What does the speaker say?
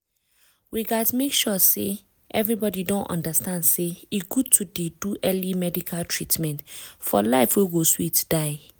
we gats make sure say everybody don understand say e good to dey do early medical treatment for life wey go sweet die.